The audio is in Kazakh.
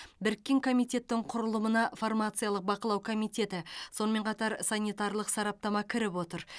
біріккен комитеттің құрылымына фармациялық бақылау комитеті сонымен қатар санитарлық сараптама кіріп отыр